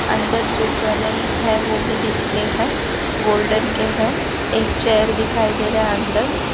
अंदर जो ज्वेलरीज है वो भी डिस्प्ले है गोल्डन के है एक चेयर दिखाई दे रहा है अंदर।